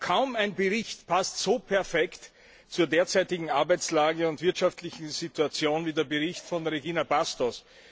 Kaum ein Bericht passt so perfekt zur derzeitigen Arbeitsmarktlage und wirtschaftlichen Situation wie der Bericht von Regina Bastos.